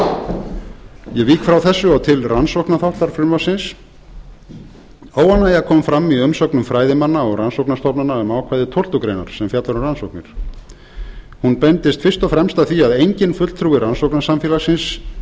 ár ég vík frá þessu og til rannsóknarþáttar frumvarpsins óánægja kom fram í umsögnum fræðimanna og rannsóknarstofnana um ákvæði tólftu greinar sem fjallar um rannsóknir hún beindist fyrst og fremst að því að enginn fulltrúi